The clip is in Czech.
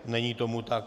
Není tomu tak.